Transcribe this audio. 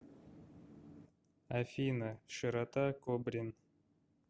афина широта кобрин